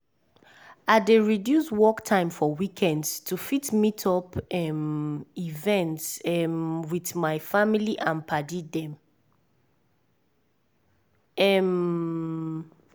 i dey reduce work time for weekends to fit meet up um events um with my family and padi dem. um